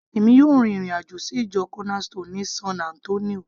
èmi yóò rin ìrìn àjò sí ìjọ corner stone ní san Antonio